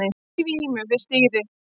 Í vímu við stýrið